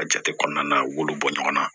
A jate kɔnɔna na u b'olu bɔ ɲɔgɔn na